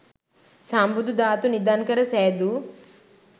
සම්බුදු ධාතු නිධන් කර සෑදූ